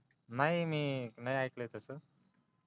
नाहीमी नाही ऐकल तसं हा का